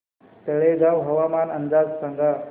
तळेगाव हवामान अंदाज सांगा